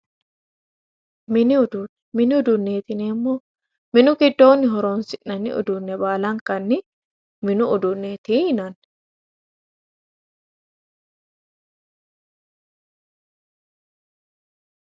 Mini uduune, mini uduuneti yineemmo minu giddoni horonsi'nanni uduune baalankanni minu uduuneti yinanni